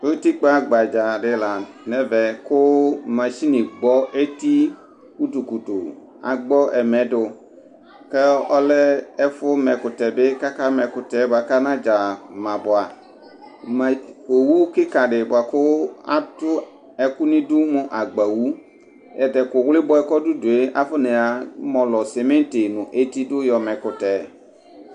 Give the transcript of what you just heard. utikpa gbadzaa di la nu ɛvɛ ku masini gbɔ eti kutu kutu agbɔ ɛmɛ du ku ɔlɛ ɛfɛ mɛkutɛ bi kaka ma ɛkutɛ kanadza ma bʋa, owu kiki di bʋa ku atu ɛku nidu mu agbawu, tatɛku ɣlibɔɛ bʋa kɔdudue akɔ na mɔlɔ simiti nu eti du yɔ mɛkutɛ